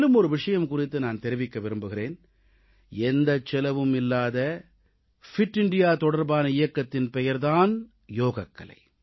மேலும் ஒரு விஷயம் குறித்து நான் தெரிவிக்க விரும்புகிறேன் எந்தச் செலவும் இல்லாத ஃபிட் இந்தியா தொடர்பான இயக்கத்தின் பெயர் தான் யோகக்கலை